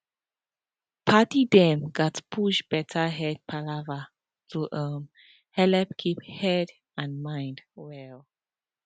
padi dem gatz push better head palava to um helep keep head and mind well